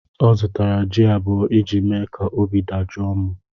Ọ zụtara jị abụọ iji mee ka obi dajọọ mụ.